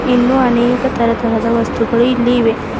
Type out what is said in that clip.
ಇನ್ನು ಅನೇಕ ತರತರದ ವಸ್ತುಗಳು ಇಲ್ಲಿ ಇವೆ.